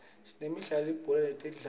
sinemidlalo yelibhola letandla